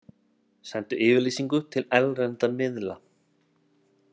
Sendu yfirlýsingu til erlendra miðla